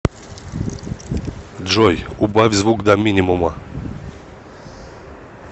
джой убавь звук до минимума